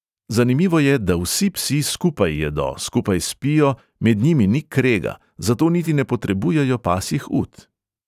Zanimivo je, da vsi psi skupaj jedo, skupaj spijo, med njimi ni krega, zato niti ne potrebujejo pasjih ut.